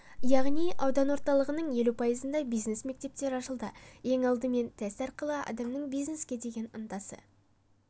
яғни аудан орталықтарының елу пайызында бизнес мектептер ашылды ең алдымен тест арқылы адамның бизнеске деген ынтасы